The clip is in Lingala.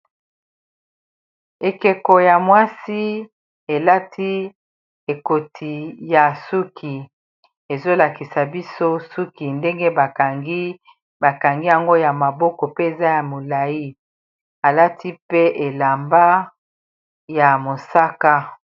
Ekeko ya mwasi elati ekoti ya suki ezolakisa biso suki ndenge kangibakangi yango ya maboko pe eza ya molai alati pe elamba ya mosaka.